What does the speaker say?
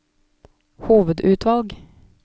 hovedutvalg